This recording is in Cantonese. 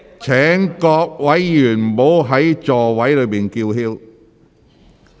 請各位議員不要在席上高聲叫喊。